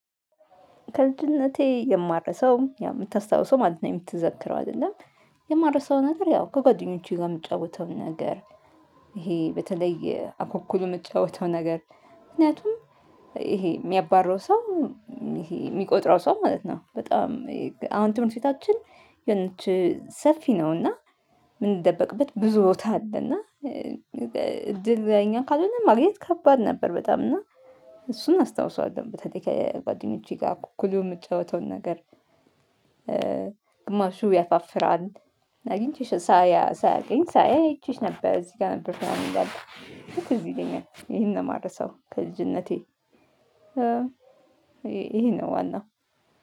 ከልጅነቴ የማልረሳው የምታስታውሰው ማለት ነው የምትዘክረው አይደለም። የማልረሳው ነገር ያው ከጓደኞቼ ጋር የምጫወተው ነገር። ይሄ በተለይ አኩኩል የምጫወተው ነገር ምክንያቱም ይሄ የሚያባረው ሰው ይሄ የሚቆጥረው ሰው ማለት ነው። በጣም አሁን ትምህርት ቤታችን የሆነች ሰፊ ነው። እና የምንደበቅበት ብዙ ቦታ አለ። እና እድል የኛ ካልሆነ ማግኘት ከባድ ነበር። በጣም እና እሱን አስታውሰዋለሁ በተለይ ከጓደኞቼ ጋር አኩኩሉ የምጫወተውን ነገር። ግማሹ ያፋፍራል አግኝቼሽ ሳያገኝ ሳያይ አይቼሽ ነበር እዚህ ጋር ነበር። እኔ እንዳለ ትዝ ይለኛል ይሄን ነው የማልረሳው ከልጅነቴ። ይሄ ነው ዋናው